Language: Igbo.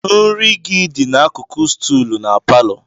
Nri gị dị n'akụkụ stuulu na palọ.